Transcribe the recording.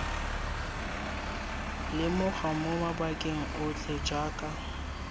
lemogwa mo mabakeng otlhe jaaka